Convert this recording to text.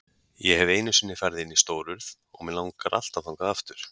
Ég hef einu sinni farið inn í Stórurð og mig langar alltaf þangað aftur.